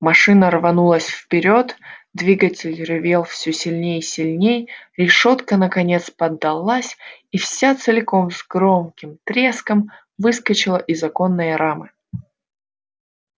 машина рванулась вперёд двигатель ревел всё сильней и сильней решётка наконец поддалась и вся целиком с громким треском выскочила из оконной рамы